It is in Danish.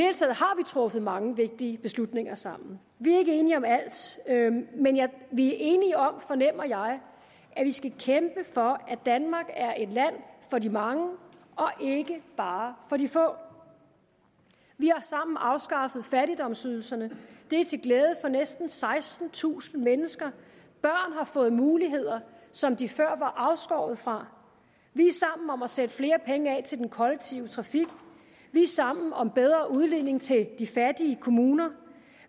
truffet mange vigtige beslutninger sammen vi er ikke enige om alt men vi er enige om fornemmer jeg at vi skal kæmpe for at danmark er et land for de mange og ikke bare for de få vi har sammen afskaffet fattigdomsydelserne det er til glæde for næsten sekstentusind mennesker børn har fået muligheder som de før var afskåret fra vi er sammen om at sætte flere penge af til den kollektive trafik vi er sammen om bedre udligning til de fattige kommuner